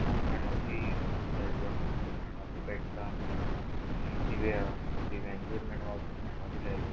कुब मेणवाती लायल्यो हा मेणवाती पेटता आणि दिवे हा दिव्यांचेर मेणवा मेणवाती लायल्या.